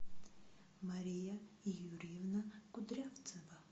мария юрьевна кудрявцева